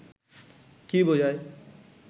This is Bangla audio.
কী বোঝায়